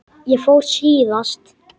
Ég fór síðast.